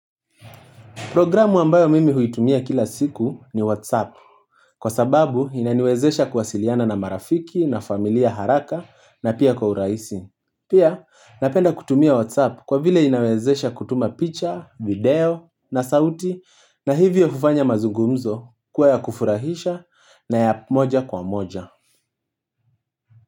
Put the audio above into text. Programu ambayo mimi huitumia kila siku ni WhatsApp. Kwa sababu inaniwezesha kuwasiliana na marafiki na familia haraka na pia kwa urahisi. Pia napenda kutumia WhatsApp kwa vile inawezesha kutuma picture, video na sauti na hivyo hufanya mazungumzo kuwa ya kufurahisha na ya moja kwa moja.